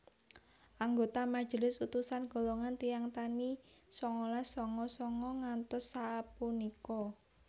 Anggota majelis utusan golongan tiyang tani sangalas sanga sanga ngantos sapunika